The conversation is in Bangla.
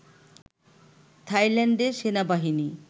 থাইল্যান্ডের সেনাবাহিনী